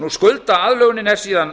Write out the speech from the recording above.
skuldaaðlögunin er síðan